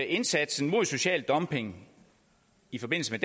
indsatsen mod social dumping i forbindelse